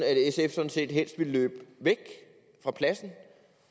set helst ville løbe af pladsen